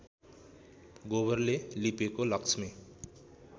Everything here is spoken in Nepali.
गोबरले लिपेको लक्ष्मी